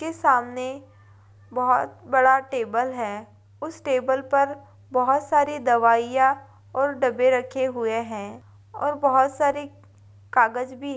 उसके सामने बहुत बड़ा टेबल है उस टेबल पर बहोत सारे दवाईयां और डब्बे रखे हुए हैं और बहोत सारे कागज भी हैं।